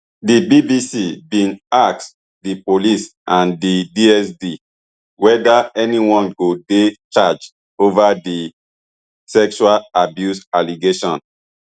di bbc bin ask di police and di dsd whether anyone go dey charged over di sexual abuse allegations